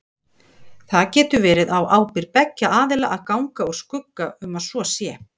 Það getur verið á ábyrgð beggja aðila að ganga úr skugga um að svo sé.